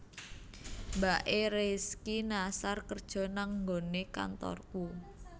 Mbak e Rizky Nasar kerjo nang nggonane kantorku